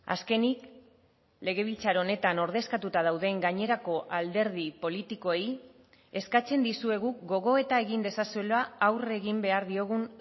azkenik legebiltzar honetan ordezkatuta dauden gainerako alderdi politikoei eskatzen dizuegu gogoeta egin dezazuela aurre egin behar diogun